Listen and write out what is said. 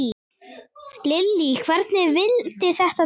Lillý: Hvernig vildi þetta til?